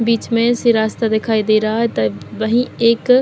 बीच में से रास्ता दिखाई दे रहा है त ब ही एक --